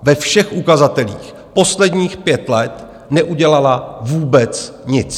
ve všech ukazatelích, posledních pět let neudělala vůbec nic.